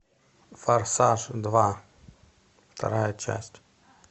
форсаж два вторая часть